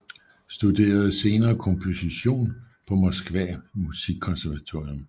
Studerede senere komposition på Moskva musikkonservatorium